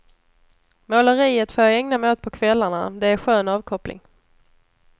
Måleriet får jag ägna mig åt på kvällarna, det är skön avkoppling.